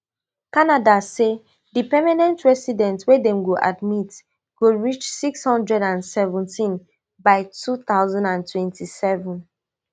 canada say di permanent residents wey dem go admit go reach six hundred and seventeen by two thousand and twenty-seven